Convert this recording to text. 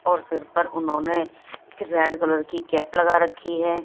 और सिर पर उन्होंने रेड कलर की कैप लगा रखी है।